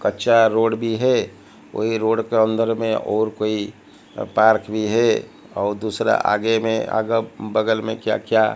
कच्चा रोड भी हैं वही रोड के अंदर में और कोई पार्क भी है और दूसरा आगे में अगर बगल में क्या क्या--